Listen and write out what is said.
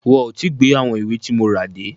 Wọn ò tí gbé àwọn ìwé tí mo rà dé.